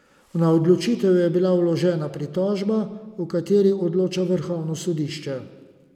Na odločitev je bila vložena pritožba, o kateri odloča vrhovno sodišče.